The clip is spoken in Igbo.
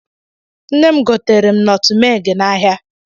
Nne m gotere nọtụ mee gị n'ahia.